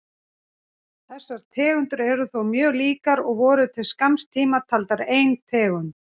Þessar tegundir eru þó mjög líkar og voru til skamms tíma taldar sem ein tegund.